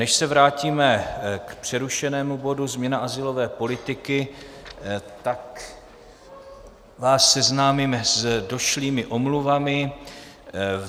Než se vrátíme k přerušenému bodu změna azylové politiky, tak vás seznámím s došlými omluvami.